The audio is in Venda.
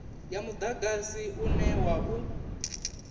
ya mudagasi une wa u